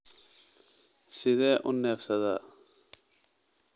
Sidee u neefsadaa?